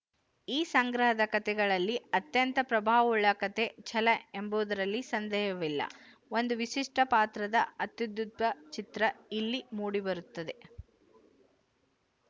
ಈ ಸಂಗ್ರಹದ ಕಥೆಗಳಲ್ಲಿ ಅತ್ಯಂತ ಪ್ರಭಾವವುಳ್ಳ ಕಥೆ ಛಲ ಎಂಬುದರಲ್ಲಿ ಸಂದೇಹವಿಲ್ಲ ಒಂದು ವಿಶಿಷ್ಟ ಪಾತ್ರದ ಅತ್ಯುದ್ಭುತ ಚಿತ್ರ ಇಲ್ಲಿ ಮೂಡಿಬರುತ್ತದೆ